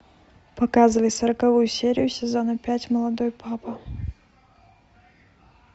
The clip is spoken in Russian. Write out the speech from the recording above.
показывай сороковую серию сезона пять молодой папа